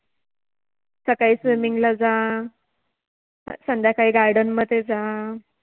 सकाळी Swimming ला जा, संध्याकाळी Garden मधे जा